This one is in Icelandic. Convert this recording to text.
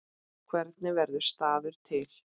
Hvernig verður staður til?